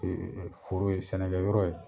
Ee foro ye ,sɛnɛkɛ yɔrɔ ye